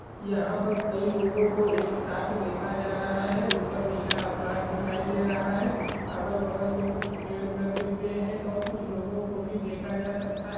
यहा पर कई लोगों को एक साथ देखा जा रहा है ऊपर नीला आकाश दिखाई दे रहा है अगल बगल मे कुछ पेड़ लगे हुए है और कुछ लोगों भी देखा जा सकता है।